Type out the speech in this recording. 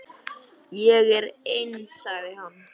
Ég er eins, sagði hann.